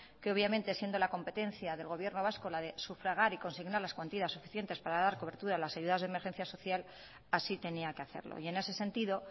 que obviamente siendo la competencia del gobierno vasco la de sufragar y consignar las cuantías suficientes para dar cobertura a las ayudas de emergencia social así tenía que hacerlo y en ese sentido